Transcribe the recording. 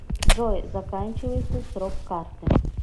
джой заканчивается срок карты